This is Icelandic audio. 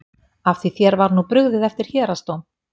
Af því þér var nú brugðið eftir héraðsdóm?